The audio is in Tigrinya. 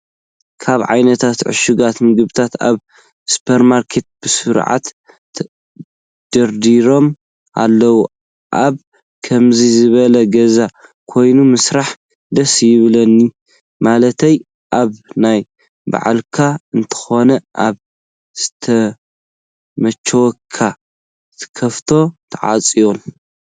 ካብ ዓይነታት ዕሽጋት ምግብታት ኣብ ስፖርማርኬት ብስርዓት ደደርዲሮም ኣለው። ኣብ ከምዙይ ዝበለ ገዛ ኮይንካ ምስራሕ ደስ ይብለኒ። ማለተይ ኣብ ናይ ባዕልካ እንተኮይኑ ኣብ ዝመቸወካ ትከፍቶን ትዓፅዎን።